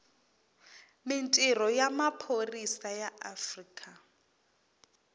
mintirho ya maphorisa ya afrika